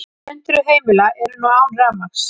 Hundruð heimila eru nú án rafmagns